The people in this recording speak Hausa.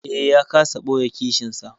Eh, ya kasa ɓoye kishinsa.